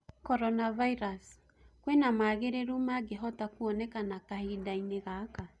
Coronavirus:kwĩna maagĩrĩru magĩhota kuonekana kahindaini gaka